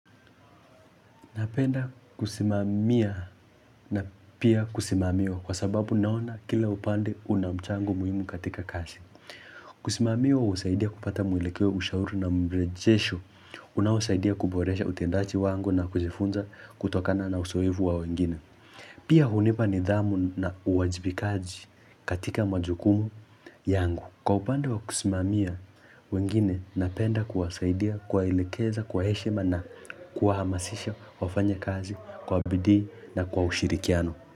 Napenda kusimamia na pia kusimamiwa kwa sababu naona kila upande una mchango muhimu katika kazi. Kusimamiwa husaidia kupata mwelekeo ushauri na mrejesho. Unaosaidia kuboresha utendaji wangu na kujifunza kutokana na uzoefu wa wengine. Pia hunipa nidhamu na uwajibikaji katika majukumu yangu. Kwa upande wa kusimamia, wengine napenda kuwasaidia, kuwaelekeza, kwa heshima na kuwahamasisha wafanye kazi kwa bidii na kwa ushirikiano.